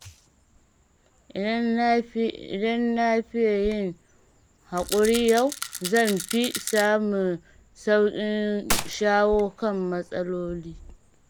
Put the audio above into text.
Idan na fiye yin haƙuri yau, zan fi samun sauƙin shawo kan matsaloli.